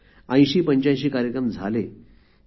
८०८५ कार्यक्रम झाले आहेत